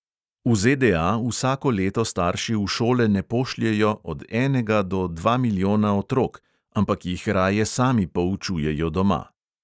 V ZDA vsako leto starši v šole ne pošljejo od enega do dva milijona otrok, ampak jih raje sami poučujejo doma.